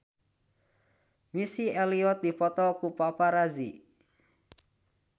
Missy Elliott dipoto ku paparazi